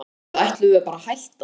Eða ætlum við bara að hætta?